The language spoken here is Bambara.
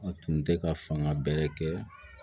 A tun tɛ ka fanga bɛrɛn kɛ